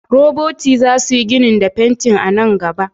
Roboti za su yi ginin da fenti a nan gaba.